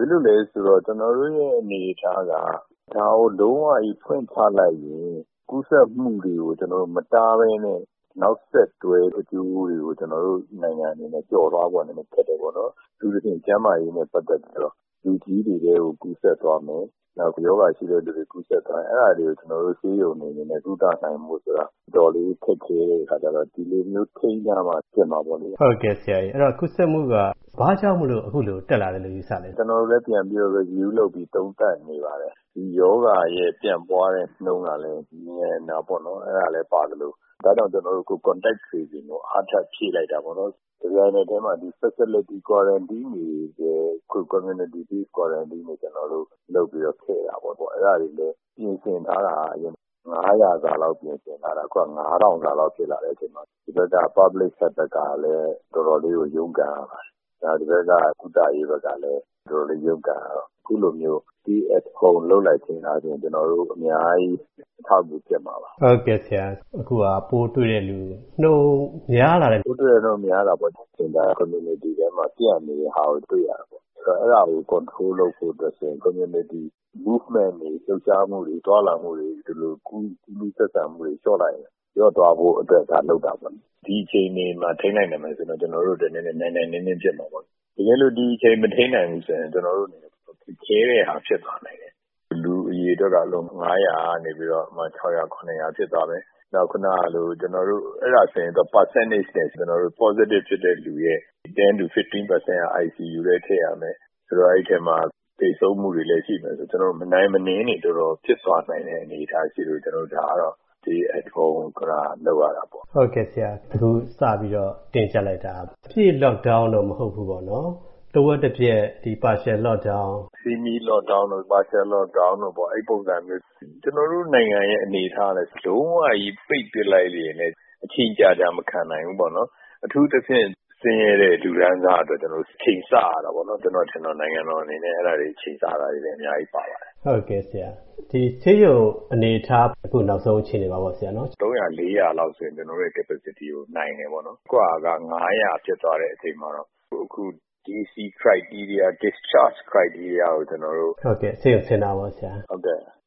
ဖြစ်လို့လဲဆိုတော့ ကျနော်တို့ရဲ့ အနေအထားက ဒါကို လုံးဝကြီး ဖွင့်ချလိုက်ရင် ကျနော်တို့ ကူးစက်မှုတွေကို မတားဘဲနဲ့ နောက်ဆက်တွဲ အကျိုးတွေကို ကျနော်တို့နိုင်ငံအနေနဲ့ ကျော်လွှားဖို့ နည်းနည်းခက်တယ်ပေါ့နော်။ အထူးသဖြင့် ကျန်းမာရေးနဲ့ ပတ်သက်ပြီးတော့ လူကြီးတွေကို ကူးစက်သွားမယ်၊ နောက် ရောဂါအခံရှိတဲ့လူတွေဆီ ကူးစက်သွားမယ်ဆိုရင် အဲ့ဒါတွေကို ကျနော်တို့ ဆေးရုံတွေအနေနဲ့ ကုသနိုင်ဖို့ဆိုတာ အတော်လေး ခက်ခဲတဲ့အခါကျတော့ ဒီလိုမျိုး ထိန်းထားမှ ဖြစ်မှာပေါ့လေ။” ဟုတ်ကဲ့ဆရာ၊ ဒီကူးစက်မှုက ဘာကြောင့်မို့ ခုလိုတက်လာတယ်လို့ ယူဆလဲ။ “ကျနော်တို့လည်း ပြန်လေ့လာပြီး သုံးသပ်နေပါတယ်။ ဒီရောဂါရဲ့ ပြန့်ပွားနှုန်းကလည်း မြန်တာပေါ့နော်၊ အဲ့ဒါလည်းပါသလို ဒါကြောင့် Contact Tracing ကို ကျေနာ်တို့ အားထပ်ဖြည့်လိုက်တာပေါ့။ တပြိုင်နက်တည်းမှာ ကျေနာ်တို့ ဒီ Facility Quarantine ထဲကို Community-based Quarantine ရပ်ရွာအခြေပြု သွားလာကန့်စခန်းတွေ လုပ်ပြီးတော့ ထည့်တာပေါ့။ အဲဒါတွေလည်း အရင်ပြင်ဆင်ထားတာက အရင် ပိုးတွေ့သူပေါင်း ၅၀၀ စာလောက် ပြင်ဆင်ထားတာ။ အခု ၅,၀၀၀ လောက် ဖြစ်လာတဲ့အချိန်မှာ တဖက်က ပြည်သူ့ကျန်းမာရေးအဖွဲ့ဘက်ကလည်း တော်တော်လေးကို ရုန်းကန်ရပါတယ်။ နောက် ဒီဘက်က ကုသရေးဘက်ကလည်း တော်တော်လေး ရုန်းကန်ရတော့ ခုလိုမျိုး Stay at Home လုပ်လိုက်တော့ အများကြီး အထောက်အကူဖြစ်မှာပါ။” အခုဟာ ပိုးတွေ့တဲ့လူနှုန်း များလာတဲ့အနေအထား။ “ဟုတ်တယ်၊ ပိုးတွေ့တဲနှုန်း များလာတာပေါ့။ ဒါ ရပ်ရွာထဲမှာ ပျံ့နေတာကို တွေ့ရတာပေါ့။ အဲ့ဒီဟာကို ထိန်းချုပ်တာ လုပ်ဖို့ဆိုရင် ရပ်ရွာထဲမှာ သွားလာလှုပ်ရှားမှုတွေ၊ လှုပ်ရှားမှုတွေ၊ သွားလာမှုတွေ၊ ဒီလို ကူးလူးဆက်ဆံမှုတွေကို လျှော့လိုက်ရင် လျော့သွားဖို့အတွက် ဒါလုပ်တာပေါ့လေ။ ဒီအခြေအနေမှာ ထိန်းနိုင်မယ်ဆိုရင်တော့ ကျနော်တို့အတွက် နိုင်နိုင်နင်းနင်း ဖြစ်မှာပေါ့နော်။ တကယ်လို့ ဒီအခြေအနေကို မထိန်းနိုင်ရင်တော့ ကျနော်တို့အနေနဲ့ တော်တော်ခက်ခဲတဲ့ဟာ ဖြစ်လာနိုင်တယ်။ နေ့စဉ်ပိုးတွေ့လူ အရေအတွက်က ၅၀၀ ကနေ ဥပမာ ၆၀၀၊ ၇၀၀ ဖြစ်သွားမယ်။ နောက် ခုနကလို အဲ့ဒါဆိုရင် ရာခိုင်နှုန်းနဲ့ ကျနော်တို့ Positive ဖြစ်သူရဲ့ ၁၀-၁၅ ရာခိုင်နှုန်းက ICU ထဲ ထည့်ရမယ်။ ဆိုတော့ အဲ့ဒီအထဲမှာ သေဆုံးမှုလည်း ရှိမယ်ဆိုတော့ ကျနော်တို့ မနိုင်မနင်းတွေ တော်တော်ဖြစ်သွားနိုင်တဲ့ အနေအထားရှိလို့ ဒါကတော့ Stay at Home က လုပ်ရတာပေါ့။” အခု စပြီးတော့ တင်းကျပ်လိုက်တာက အပြည့် Lockdown တော့ မဟုတ်ဘူးပေါ့နော်။ တပိုင်းတစ Lockdown သဘောမျိုး။ Semi-Lockdown တို့၊ Partial Lockdown တို့ အဲ့ဒီပုံစံမျိုး။ ကျနော်တို့နိုင်ငံရဲ့ အနေအထားကလည်း လုံးဝကြီး ပိတ်ပစ်လိုက်ရင်လည်း အချိန်ကြာကြာ မခံနိုင်ဘူးပေါ့နော်။ အထူးသဖြင့် ဆင်းရဲတဲ့ လူတန်းစားအတွက် ချိန်ဆရတာပေါ့နော်။ ကျနော်ထင်ပါတယ် နိုင်ငံတော်အနေနဲ့ အဲ့ဒါတွေ ချိန်ဆရတာလည်း အများကြီးပါပါတယ်။” အခု ဆေးရုံအနေအထား၊ အခု လူနာတွေ နေ့စဉ်တက်လာတဲ့ နောက်ဆုံးအခြေအနေမှာရော။ “နေ့စဉ်ပိုးတွေ့သူ ၃၀၀၊ ၄၀၀ လောက်မှာဆိုရင် ကျနော်တို့ အနေအထားနဲ့ နိုင်တယ်ပေါ့နော်။ ဒါပေမယ့် အခုဟာ ၅၀၀ ဖြစ်သွားတဲ့ အချိန်မှာတော့ ဆေးရုံဆင်းခွင့်ကို ကျနော်